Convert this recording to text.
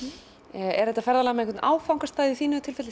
er þetta ferðalag með einhvern áfangastað í þínu tilfelli